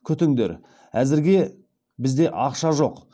күтіңдер әзірге бізде ақша жоқ